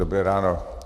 Dobré ráno.